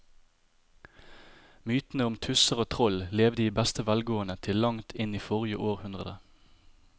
Mytene om tusser og troll levde i beste velgående til langt inn i forrige århundre.